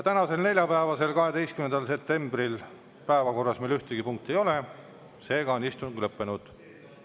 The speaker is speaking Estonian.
Tänasel neljapäeva, 12. septembri meil päevakorras ühtegi punkti ei ole, seega on istung lõppenud.